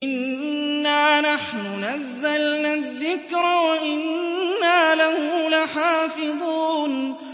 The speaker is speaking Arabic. إِنَّا نَحْنُ نَزَّلْنَا الذِّكْرَ وَإِنَّا لَهُ لَحَافِظُونَ